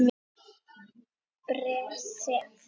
Bréf, sem